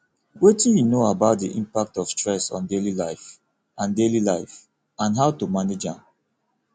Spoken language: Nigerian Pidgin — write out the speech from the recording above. wetin you know about di impact of stress on daily life and daily life and how to manage am